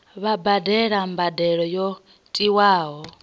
vha badele mbadelo yo tiwaho